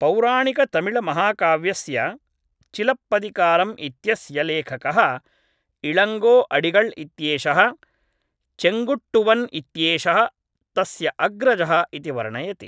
पौराणिकतमिळ्महाकाव्यस्य चिलप्पदिकारम् इत्यस्य लेखकः इळङ्गो अडिगळ् इत्येषः चेङ्गुट्टुवन् इत्येषः तस्य अग्रजः इति वर्णयति